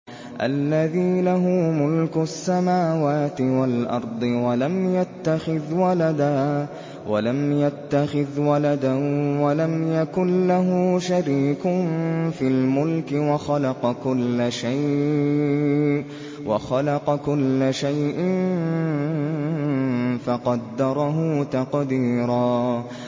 الَّذِي لَهُ مُلْكُ السَّمَاوَاتِ وَالْأَرْضِ وَلَمْ يَتَّخِذْ وَلَدًا وَلَمْ يَكُن لَّهُ شَرِيكٌ فِي الْمُلْكِ وَخَلَقَ كُلَّ شَيْءٍ فَقَدَّرَهُ تَقْدِيرًا